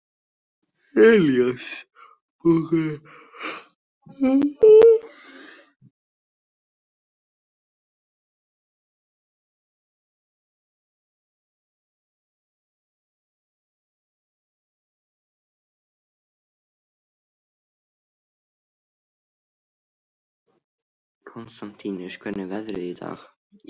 Konstantínus, hvernig er veðrið í dag?